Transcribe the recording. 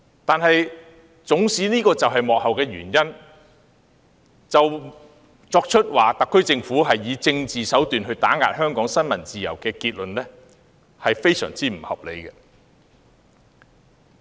但縱使這是幕後的原因，以此定論特區政府以政治手段打壓香港新聞自由，是非常不合理的。